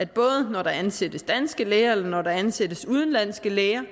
både når der ansættes danske læger og når der ansættes udenlandske læger